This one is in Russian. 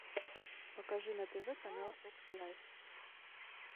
покажи на тв канал фокс лайф